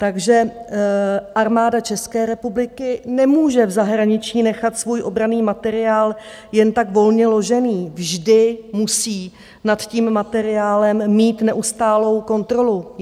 Takže Armáda České republiky nemůže v zahraničí nechat svůj obranný materiál jen tak volně ložený, vždy musí nad tím materiálem mít neustálou kontrolu.